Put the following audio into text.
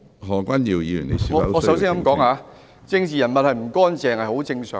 我首先想說的是，政治人物不乾淨是很正常。